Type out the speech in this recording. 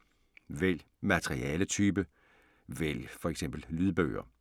Vælg materialetype: vælg f.eks. lydbøger